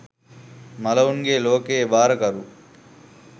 මලවුන්ගෙ ලෝකයෙ භාරකරු